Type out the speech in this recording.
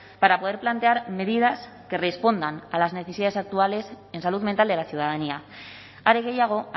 para poder plantear medidas que respondan a las necesidades actuales en salud mental de la ciudadanía are gehiago